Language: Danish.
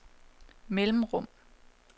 mellemrum